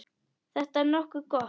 Þetta er nokkuð gott.